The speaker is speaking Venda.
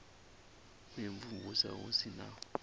u imvumvusa hu si na